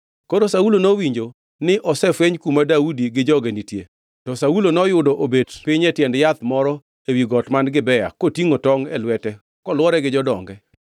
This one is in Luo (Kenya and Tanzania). Koro Saulo nowinjo ni osefweny kuma Daudi gi joge nitie. To Saulo noyudo obet piny e tiend yath moro ewi got man Gibea kotingʼo tongʼ e lwete kolwore gi jodonge.